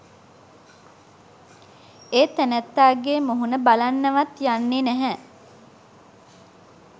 ඒ තැනැත්තාගේ මුහුණ බලන්නවත් යන්නෙ නැහැ.